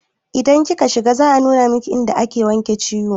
Idan kika shiga za a nuna miki inda ake wanke ciwo